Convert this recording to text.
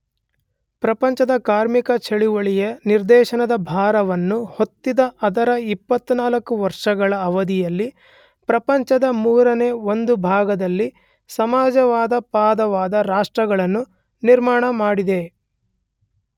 ಪ್ರಪಂಚದ ಕಾರ್ಮಿಕ ಚಳವಳಿಯ ನಿರ್ದೇಶನದ ಭಾರವನ್ನು ಹೊತ್ತಿದ್ದ ಅದರ 24 ವರ್ಷಗಳ ಅವಧಿಯಲ್ಲಿ ಪ್ರಪಂಚದ ಮೂರನೆ ಒಂದು ಭಾಗದಲ್ಲಿ ಸಮಾಜವಾದಪರವಾದ ರಾಷ್ಟ್ರಗಳನ್ನು ನಿರ್ಮಾಣಮಾಡಿದೆ.